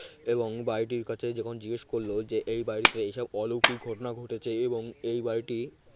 এবং বাড়িটির কথা যখন জিজ্ঞেস করল যে এই বাড়িতে এসব অলৌকিক ঘটনা ঘটেছে এবং এই বাড়িটি